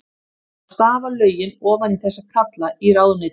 Það þarf að stafa lögin ofan í þessa kalla í ráðuneytunum.